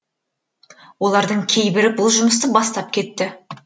олардың кейбірі бұл жұмысты бастап кетті